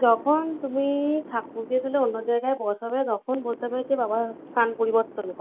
যখন তুমি ঠাকুরকে তুলে অন্য জায়গায় বসাবে তখন বলতে হবে বাবা স্থান পরিবর্তন কর